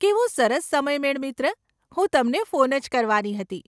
કેવો સરસ સમયમેળ મિત્ર, હું તમને ફોન જ કરવાની હતી.